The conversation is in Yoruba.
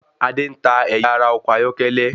Adé ń ta ẹyà ara ọkọ̀ ayọ́kẹ́lẹ́.